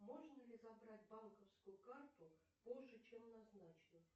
можно ли забрать банковскую карту позже чем назначено